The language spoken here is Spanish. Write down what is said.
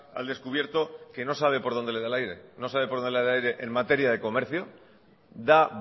al descubierto que no sabe por dónde le da el aire no sabe por dónde le da el aire en materia de comercio da